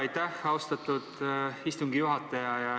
Aitäh, austatud istungi juhataja!